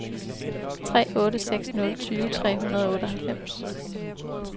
tre otte seks nul tyve tre hundrede og otteoghalvfems